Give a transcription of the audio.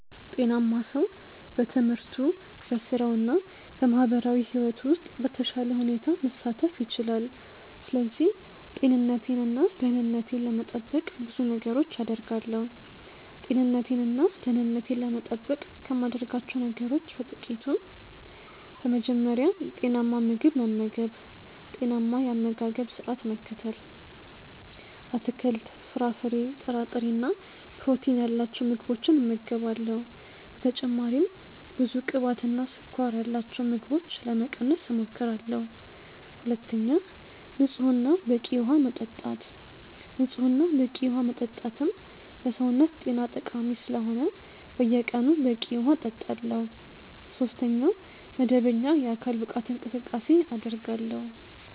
ጤናማ ሰው በትምህርቱ፣ በሥራው እና በማህበራዊ ሕይወቱ ውስጥ በተሻለ ሁኔታ መሳተፍ ይችላል። ስለዚህ ጤንነቴን እና ደህንነቴን ለመጠበቅ ብዙ ነገሮችን አደርጋለሁ። ጤንነቴን እና ደህንነቴን ለመጠበቅ ከማደርጋቸው ነገሮች በ ጥቅቱ፦ በመጀመሪያ, ጤናማ ምግብ መመገብ(ጤናማ የ አመጋገባ ስረዓት መከተል ):- አትክልት፣ ፍራፍሬ፣ ጥራጥሬ እና ፕሮቲን ያላቸው ምግቦችን እመገባለሁ። በተጨማሪም ብዙ ቅባትና ስኳር ያላቸውን ምግቦች ለመቀነስ እሞክራለሁ። ሁለተኛ, ንጹህ እና በቂ ውሃ መጠጣት። ንጹህ እና በቂ ዉሃ መጠጣትም ለሰውነት ጤና ጠቃሚ ስለሆነ በየቀኑ በቂ ውሃ እጠጣለሁ። ሶስተኛ, መደበኛ የአካል ብቃት እንቅስቃሴ አደርጋለሁ።